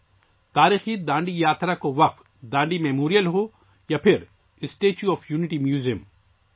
چاہے وہ تاریخی ڈانڈی مارچ کے لیے وقف ڈانڈی کی یادگار ہو یا اسٹیچو آف یونٹی میوزیم